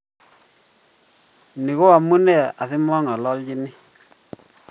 Ni ko amune asimang'alanchini